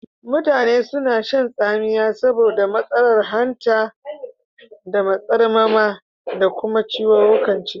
Mutane suna shan tsamiya saboda matsalar hanta da matsarmama da kuma ciwukan ciki.